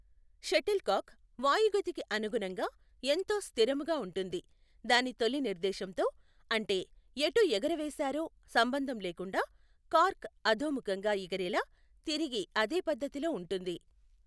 Shuttle కాక్ వాయుగతికి అనుగుణంగా ఎంతో స్థిరముగా ఉంటుంది. దాని తొలి నిర్దేశంతో, అంటే ఎటు ఎగురవేసారో సంబంధం లేకుండా, కార్క్ అధోముఖంగా ఎగిరేలా తిరిగి అదే పధ్ధతిలో ఉంటుంది.